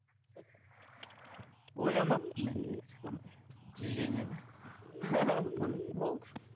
ойламаппын мен негізі ондай движение де міне болды